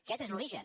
aquest és l’origen